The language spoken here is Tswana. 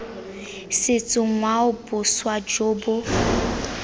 setso ngwao boswa jo bo